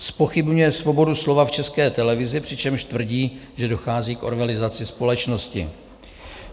Zpochybňuje svobodu slova v České televizi, přičemž tvrdí, že dochází k orwellizaci společnosti.